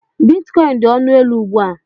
Bitkọịn dị ọnụ élú ugbu a.